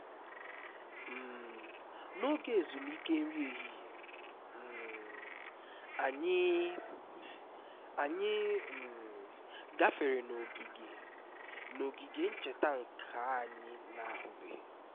um n'oge ezumike nri ehihie um anyị anyị um gafere n'ogige n'ogige ncheta nke anyị na-ahụbeghị